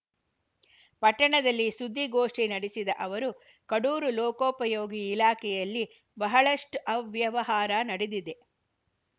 ಪಟ್ಟಣದಲ್ಲಿ ಸುದ್ದಿಗೋಷ್ಟಿನಡೆಸಿದ ಅವರು ಕಡೂರು ಲೋಕೋಪಯೋಗಿ ಇಲಾಖೆಯಲ್ಲಿ ಬಹಳಷ್ಟುಅವ್ಯವಹಾರ ನಡೆದಿದೆ